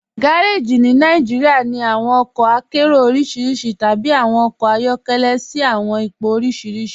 Gàrèjí ní Nàìjíríà ní awọn ọkọ àkéró orísíríṣí tàbí awọn ọkọ ayọkẹlẹ̀ sí awọn ìpọ̀ orísíríṣí.